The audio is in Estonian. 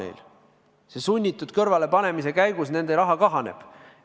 Selle sunnitud kõrvalepanemise käigus nende raha kahaneb.